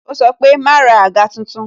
Ó sọ pé "ma ra àga tuntun"